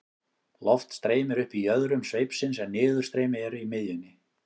loft streymir upp í jöðrum sveipsins en niðurstreymi er í miðjunni